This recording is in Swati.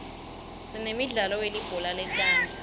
sinemidlalo welibhola letandla